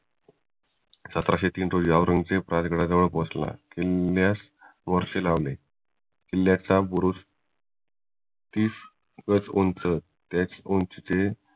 सतराशे तीन रोजी राजगडाजवळ पोहोचला किल्ल्यास वळसे लावले किल्ल्याचा बुरुज तीस गज उंच त्याच उंचीचे